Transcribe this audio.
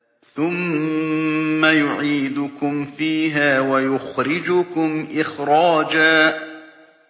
ثُمَّ يُعِيدُكُمْ فِيهَا وَيُخْرِجُكُمْ إِخْرَاجًا